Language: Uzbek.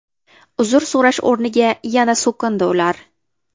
Uzr so‘rash o‘rniga yana so‘kindi ular.